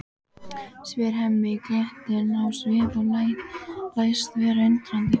spyr Hemmi glettinn á svip og læst vera undrandi.